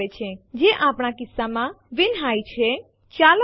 તમે ટેસ્ટ ડિરેક્ટરીના સમાવિષ્ટો જોઈ શકો છો